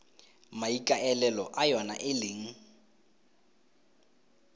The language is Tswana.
maikaelelo a yona e leng